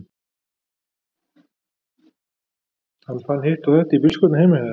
Hann fann hitt og þetta í bílskúrnum heima hjá þér.